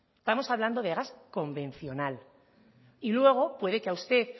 estamos hablando de gas convencional y luego puede que a usted